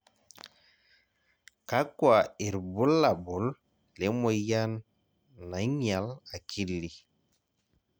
kakua irbulabol le moyian naing'ial akili?